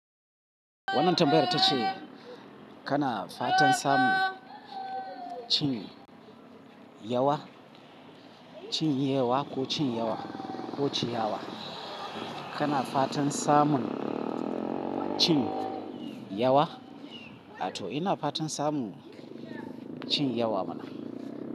Wannan tambayar tace kana fatan samun cin yawa, cin yewa ko cin yawa ko ciyawa. Kana fatan samun cin yawa, ato ina fatan samun cin yawa mana.